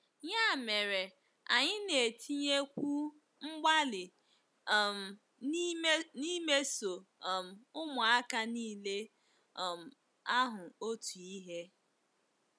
Ya mere, anyị na-etinyekwu mgbalị um n'imeso um ụmụaka niile um ahụ otu ihe.